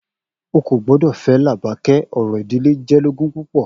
O kò gbọdọ̀ fẹ́ Làbàkẹ́, orò ìdílé jẹ́ lógún púpọ̀.